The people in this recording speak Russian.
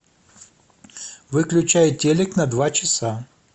выключай телик на два часа